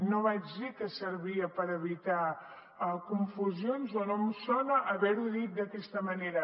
no vaig dir que servia per evitar confusions o no em sona haver ho dit d’aquesta manera